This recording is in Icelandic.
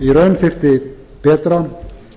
í raun þyrfti betra og